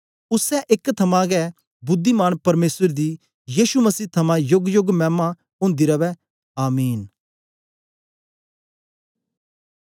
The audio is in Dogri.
उसै एक थमां गै बुद्धिमान परमेसर दी यीशु मसीह थमां योगयोग मैमा ओंदी रवै आमीन